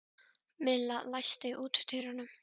Milla, læstu útidyrunum.